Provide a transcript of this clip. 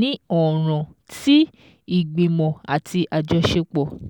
ní ọ̀ràn tí ìgbìmò àti àjọṣepọ̀